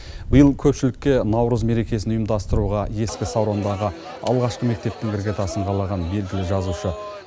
биыл көпшілікке наурыз мерекесін ұйымдастыруға ескі саурандағы алғашқы мектептің іргетасын қалаған белгілі жазушы